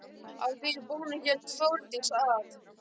Að því búnu hélt Þórdís að